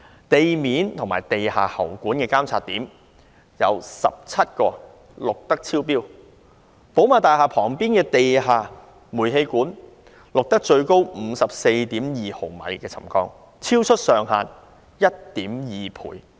至於地面及地下喉管的監測點，則有17個錄得超標；寶馬大廈旁邊的地下煤氣管道，錄得最高 54.2 毫米沉降，超出上限 1.2 倍。